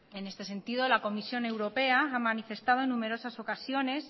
en este sentido la comisión europea ha manifestado en numerosas ocasiones